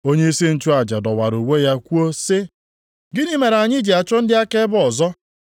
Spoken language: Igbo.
Onyeisi nchụaja dọwara uwe ya kwuo sị, “Gịnị mere anyị ji achọ ndị akaebe ọzọ?